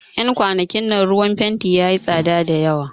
Yan kwanakin nan ruwan fenti yayi tsada da yawa